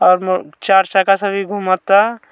अब चार चक्का से भी घूमता।